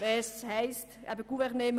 Das heisst eben «gouverner».